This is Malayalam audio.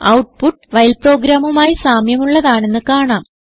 ഔട്ട്പുട്ട് വൈൽ പ്രോഗ്രാമുമായി സാമ്യമുള്ളതാണെന്ന് കാണാം